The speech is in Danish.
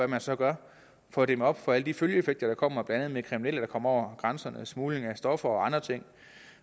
man så gør for at dæmme op for alle de følgeeffekter der kommer blandt andet med kriminelle der kommer over grænserne smugling af stoffer og andre ting